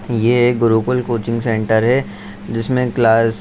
ये एक Gurukul coaching centre है जिसमें क्लास --